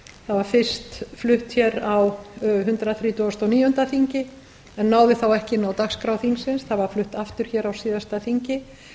var fyrst flutt hér á hundrað þrítugasta og níunda þingi en náði þá ekki inn á dagskrá þingsins það var flutt aftur hér á síðasta þingi